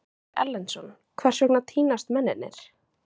Ásgeir Erlendsson: Hvers vegna týnast mennirnir?